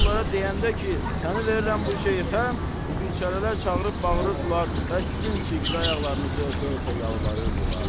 Siz bunlara deyəndə ki, səni verirəm bu şeyxə, bu biçarələr çağırıb bağırırdılar və sizin çirkli ayaqlarınızı öpə-öpə yalvarırdılar.